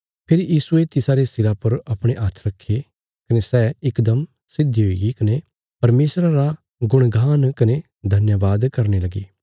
फेरी यीशुये तिसारे सिरा पर अपणे हाथ रखे कने सै इकदम सीधी हुईगी कने परमेशरा रा गुणगान कने धन्यवाद करने लगी